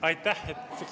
Aitäh!